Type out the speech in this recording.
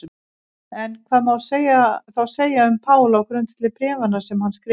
En hvað má þá segja um Pál á grundvelli bréfanna sem hann skrifaði?